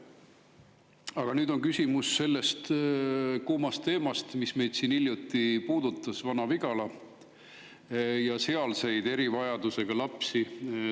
Aga nüüd on küsimus sellel kuumal teemal, mis meid hiljuti puudutas: Vana-Vigala ja sealsed erivajadusega lapsed.